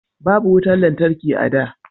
Babu wutan lantarki a da